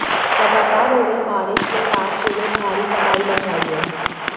लगातार हो रही बारिश ने राज्य में भारी तबाही मचाई है